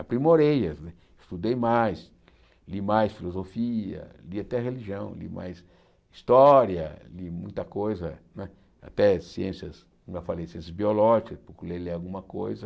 aprimorei, estudei mais, li mais filosofia, li até religião, li mais história, li muita coisa né, até ciências, como eu falei, ciências biológicas, procurei ler alguma coisa.